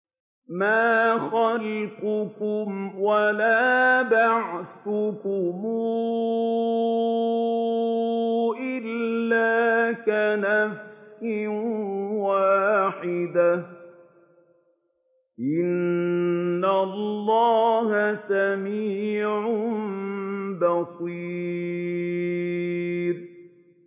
مَّا خَلْقُكُمْ وَلَا بَعْثُكُمْ إِلَّا كَنَفْسٍ وَاحِدَةٍ ۗ إِنَّ اللَّهَ سَمِيعٌ بَصِيرٌ